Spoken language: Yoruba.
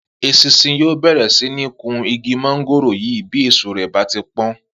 Esinsin yóò bèrè sí ní kun igi móngòrò yìí bí èso rè bá ti pón